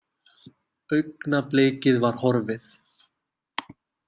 Augnablikið var horfið.